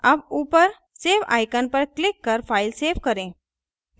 अब ऊपर save icon पर क्लिक कर फ़ाइल सेव करें